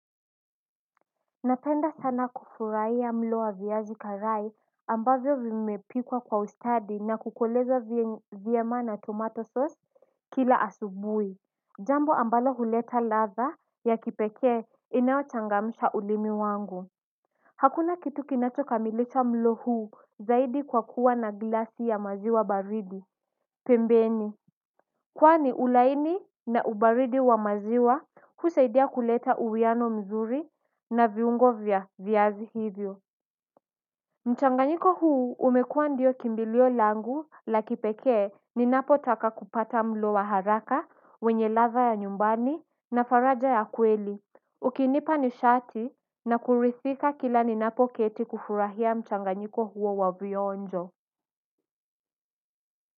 Napenda sana kufurahia mlo wa viazi karai ambavyo vimepikwa kwa ustadi na kukolezwa vyema na tomato sauce kila asubui jambo ambalo huleta ladha ya kipekee inayochangamsha ulimi wangu hakuna kitu kinacho kamilisha mlo huu zaidi kwa kuwa na glasi ya maziwa baridi pembeni kwani ulaini na ubaridi wa maziwa husaidia kuleta uwiano mzuri na viungo vya viazi hivyo mchanganyiko huu umekuwa ndio kimbilio langu la kipekee ninapotaka kupata mlo wa haraka wenye ladha ya nyumbani na faraja ya kweli. Ukinipa nishati na kuridhika kila ninapoketi kufurahia mchanganyiko huo wa vionjo.